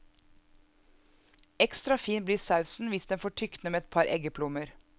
Ekstra fin bli sausen hvis den får tykne med et par eggeplommer.